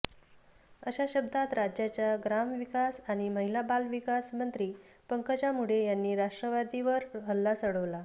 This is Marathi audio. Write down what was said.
अशा शब्दांत राज्याच्या ग्रामविकास आणि महिला बालविकास मंत्री पंकजा मुंडे यांनी राष्ट्रवादीवर हल्ला चढवला